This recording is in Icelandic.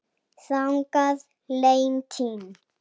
Þannig leið tíminn.